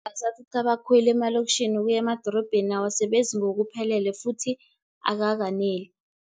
Amabhasi athutha abakhweli emalokitjhini ukuye emadorobheni awasebenzi ngokupheleleko futhi akakaneli,